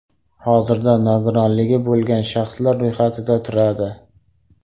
Hozirda nogironligi bo‘lgan shaxslar ro‘yxatida turadi.